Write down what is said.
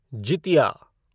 Jitiya